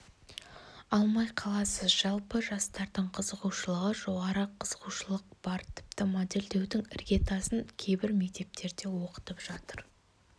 алмай қаласыз жалпы жастардың қызығушылығы жоғары қызығушылық бар тіпті модельдеудің іргетасын кейбір мектептерде оқытып жатыр